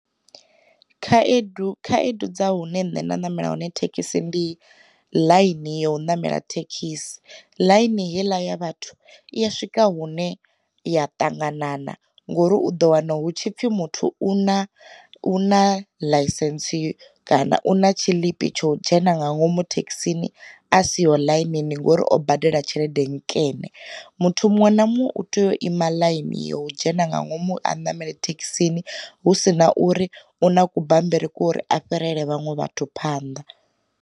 Khaedu khaedu dza hune nṋe na namela hone thekhisi ndi ḽaini ya u ṋamela thekhisi, ḽaini heiḽa ya vhathu i ya swika hune ya ṱanganana ngori u ḓo wana hu tshipfi muthu u na u na ḽaisentse yo kana u na tshiḽipi tsho dzhena nga ngomu thekhisini a siho ḽainini ngori o badela tshelede nkene. Muthu muṅwe na muṅwe u tea u ima line yo dzhena nga ngomu a ṋamele thekhisini hu sina uri una ku bambiri ko uri a fhirele vhaṅwe vhathu phanḓa.